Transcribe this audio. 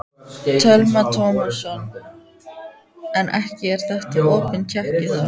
Telma Tómasson: En ekki er þetta opin tékki þá?